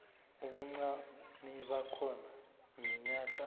ubuncani bakhona iminyaka